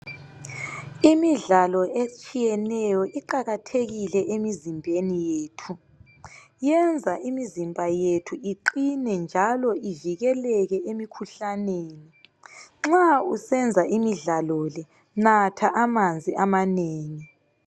Imidlalo etshiyeneyo iqakathekile emizimbeni yethu. Yenza imizimba yethu iqine njalo ivikeleke emikhuhlaneni. Nxa usenza imidlalo le, natha amanzi amanengi.